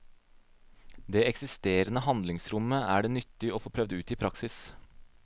Det eksisterande handlingsrommet er det nyttig å få prøvd ut i praksis.